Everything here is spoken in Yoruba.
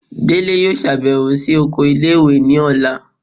Délé yóò ṣabẹwo si okò ìlé-ìwé ní ọla